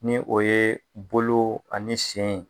Ni o ye bolo ani sen.